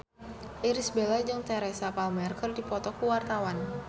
Irish Bella jeung Teresa Palmer keur dipoto ku wartawan